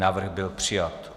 Návrh byl přijat.